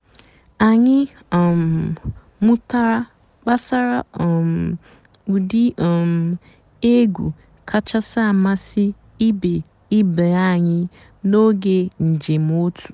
ányị́ um mụ́tárá gbàsàrà um ụ́dị́ um ègwú kàchàsị́ àmásị́ ìbé ìbé ànyị́ n'óge ǹjéém ótú.